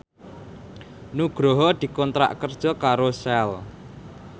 Nugroho dikontrak kerja karo Shell